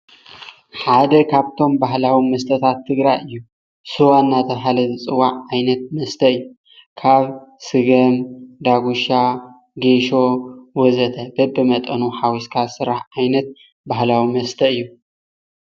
ሓደ ካብቶም ባህላዊ መስታት ትግራይ እዩ። ሰዋ እናተብሃለ ዝፅዋዕ ዓይነት መስተ እዩ። ካብ ሰገም፣ ዳጉሻ፤ ጌሾ ወዘተ በብመጠኑ ሓዊስካ ዝስራሕ ዓይነት ባህላዊ መስተ እያ።